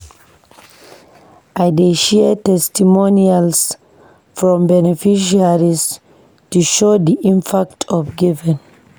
I dey share testimonials from beneficiaries to show the impact of giving.